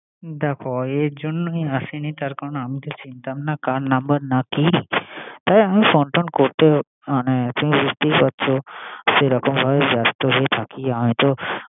দেখ এই জন্যই আসিনি। তার করান আমি তো চিনতাম না। কার নাম্বার না কি? তাই ফোন টোন করতে, মানে তুমি বুঝতেই পারছো সে রকমভাবে ব্যাস্ত হয়ে থাকি আমিতো।